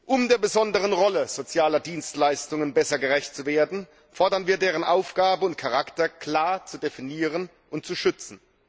Um der besonderen Rolle sozialer Dienstleistungen besser gerecht zu werden, fordern wir, deren Aufgabe und Charakter klar zu definieren und zu schützen.